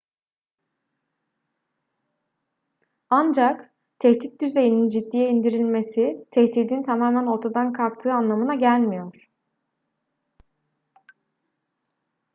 ancak tehdit düzeyinin ciddiye indirilmesi tehdidin tamamen ortadan kalktığı anlamına gelmiyor